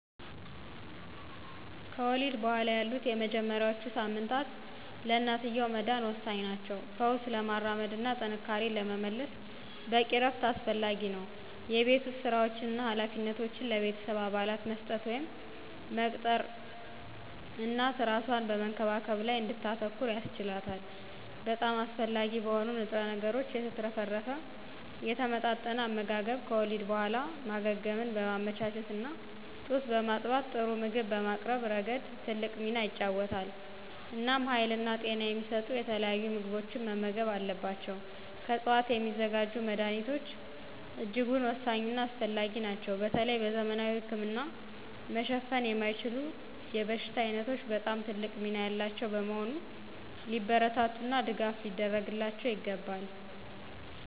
ከወሊድ በኋላ ያሉት የመጀመሪያዎቹ ሳምንታት ለእናትየው መዳን ወሳኝ ናቸው። ፈውስ ለማራመድ እና ጥንካሬን ለመመለስ በቂ እረፍት አስፈላጊ ነው። የቤት ውስጥ ሥራዎችን እና ኃላፊነቶችን ለቤተሰብ አባላት መስጠት ወይም መቅጠር እናት እራሷን በመንከባከብ ላይ እንድታተኩር ያስችላታል። በጣም አስፈላጊ በሆኑ ንጥረ ነገሮች የተትረፈረፈ የተመጣጠነ አመጋገብ ከወሊድ በኋላ ማገገምን በማመቻቸት እና ጡት በማጥባት ጥሩ ምግብ በማቅረብ ረገድ ትልቅ ሚና ይጫወታል። እናም ሀይልና ጤና የሚሰጡ የተለያዩ ምግቦችን መመገብ አለባቸው። ከዕፅዋት የሚዘጋጁ መድኀኒቶች እጅጉን ወሳኝና አስፈላጊ ናቸው በተለይ በዘመናዊ ህክምና መሸፈን የማይችሉ የበሽታ ዓይነቶች በጣም ትልቅ ሚና ያላቸው በመሆኑ ሊበረታቱና ድጋፍ ሊደረግላቸው ይገባል።